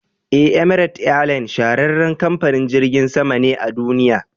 E, "Emirate airline shahararren kamfanin jirgin sama ne a duniya.